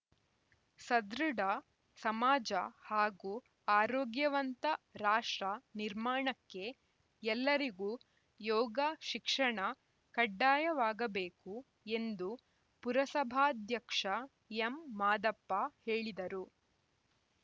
ಸದೃಢ ಸಮಾಜ ಹಾಗೂ ಆರೋಗ್ಯವಂತ ರಾಷ್ಟ್ರ ನಿರ್ಮಾಣಕ್ಕೆ ಎಲ್ಲರಿಗೂ ಯೋಗ ಶಿಕ್ಷಣ ಕಡ್ಡಾಯವಾಗಬೇಕು ಎಂದು ಪುರಸಭಾಧ್ಯಕ್ಷ ಎಂಮಾದಪ್ಪ ಹೇಳಿದರು